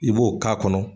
I b'o k'a kɔnɔ